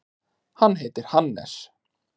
Hann heitir Hannes.